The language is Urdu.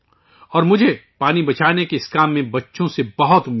اور پانی بچانے کے اس کام میں مجھے بچوں سے بہت امید ہے